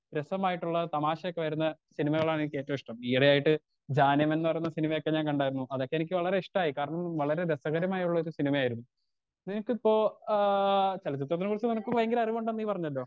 രാസമായിട്ടുള്ള തമാശയൊക്കെ വരുന്ന സിനിമകളാണ് എനിക്ക് ഏറ്റവും ഇഷ്ട്ടം ഈ ഇടയായിട്ട് ജാനേ മൻ എന്ന് പറയുന്ന സിനിമയൊക്കെ ഞാൻ കണ്ടായിരുന്നു അതൊക്കെ എനിക്ക് വളരെ ഇഷ്ട്ടായി കാരണം വളരെ രസകരമായുള്ളൊരു സിനിമായിരുന്നു ഇനിക്കിപ്പോ ഏഹ് ചെലചിത്രത്തിനെ കുറിച്ച് നിനക്ക്‌ ഭയങ്കര അറിവുണ്ടെന്ന് നീ പറഞ്ഞലോ